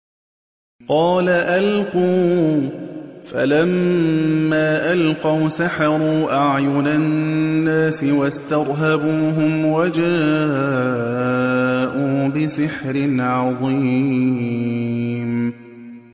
قَالَ أَلْقُوا ۖ فَلَمَّا أَلْقَوْا سَحَرُوا أَعْيُنَ النَّاسِ وَاسْتَرْهَبُوهُمْ وَجَاءُوا بِسِحْرٍ عَظِيمٍ